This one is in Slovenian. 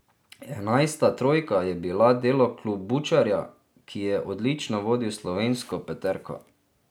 Enajsta trojka je bila delo Klobučarja, ki je odlično vodil slovensko peterko.